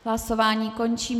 Hlasování končím.